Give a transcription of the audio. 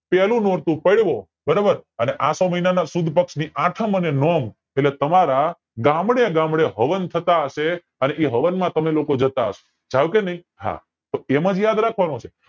પેલું નોરતું પડવો બરોબર અને આસો મહિના ના સુદ પક્ષ ની આઠમ અને નોમ એટલે તમારા ગામડે ગામડે હવન થતા હશે અને એ હવન માં તમે લોકો જતા હસો જાવ ચો કે નય હા તો એમ જ યાદ રાખવાનું છે